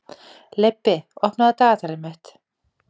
Leibbi, opnaðu dagatalið mitt.